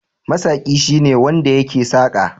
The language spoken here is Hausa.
Masaƙi shine wanda yake saƙa.